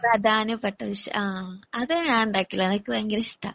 പ്രധാനപ്പെട്ട വിഷയം ആഹ് അത് ഞാൻ ഉണ്ടാക്കിയുള്ളൂ ഭയങ്കര ഇഷ്ട